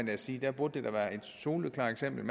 da sige det burde være et soleklart eksempel